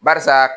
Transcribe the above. Barisa